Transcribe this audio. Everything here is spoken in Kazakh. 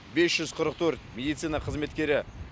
бес жүз қырық төрт медицина қызметкері